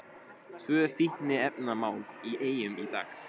Tvö fíkniefnamál í Eyjum í dag